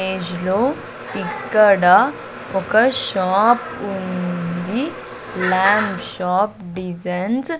image లో ఇక్కడ ఒక షాప్ ఉంది ల్యాంప్ షాప్ డిజైన్స్ --